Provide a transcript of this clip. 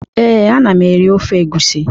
Ee, ana m eri ofe egwusi.